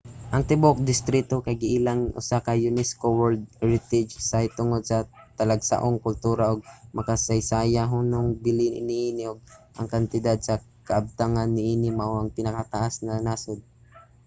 ang tibuok distrito kay giilang usa ka unesco world heritage site tungod sa talagsaong kultura ug makasaysayanhong bili niini ug ang kantidad sa kabtangan niini mao ang pinakataas sa nasod